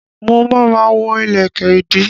Mo ma ma wọ́ ìlẹ̀kẹ̀ ìdí